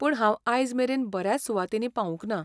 पूण हांव आयजमेरेन बऱ्याच सुवातींनी पावूंक ना.